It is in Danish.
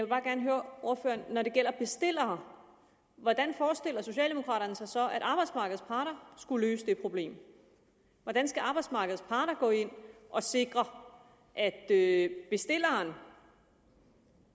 bare gerne høre ordføreren når det gælder bestillere hvordan forestiller socialdemokraterne sig så at arbejdsmarkedets parter skulle løse det problem hvordan skal arbejdsmarkedets parter gå ind og sikre at at bestilleren